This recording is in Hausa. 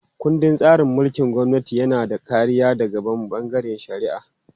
Ƙundin tsarin mulkin gwamnati yana da kariya daga bangaren shari'a.